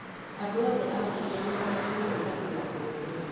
Andũ othe a mbunge nĩ maheanire tani ya mbebe